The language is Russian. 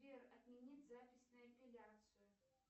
сбер отмени запись на эпиляцию